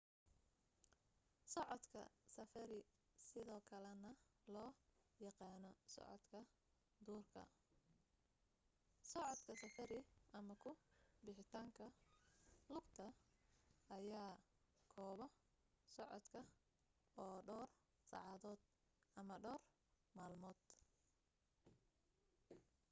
socodka safari sidoo kale na loo yaqaano socodka duurka” socodka safari” ama ku bixitaanka lugta” ayaa koobo socodka oo dhawr saacadood ama dhawr maalmood